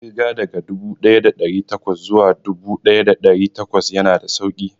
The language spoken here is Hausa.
Ƙirga daga dubu ɗaya da ɗari bakwai zuwa dubu ɗaya da ɗari takwas ya na da sauƙi